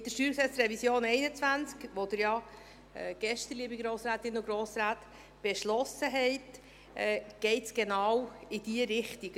Mit der StG-Revision 2021, die Sie ja gestern, liebe Grossrätinnen und Grossräte, beschlossen haben, geht es genau in diese Richtung.